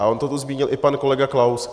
A on to tu zmínil i pan kolega Klaus.